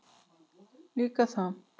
Líka það.